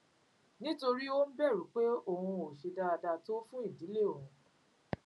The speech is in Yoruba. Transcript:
nítorí ó ń bèrù pé òun ò ṣe dáadáa tó fún ìdílé òun